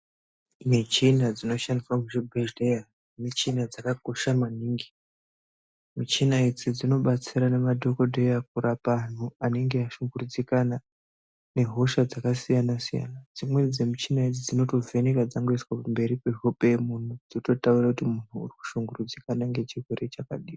Michina dzinoshandiswa muchibhedhlera, michina dzakakosha maningi. Michina idzi dzinobatsira madhogodheya, kurapa antu anenge ashungurudzika nehosha dzakasiyana-siyana. Dzimweni dzemichina idzi dzinotovheneka kana dzaiswa pamberi pehope yemuntu dzototaura kuti muntu arikushungurudzika ngechirwere chakadini.